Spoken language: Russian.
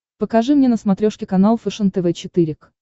покажи мне на смотрешке канал фэшен тв четыре к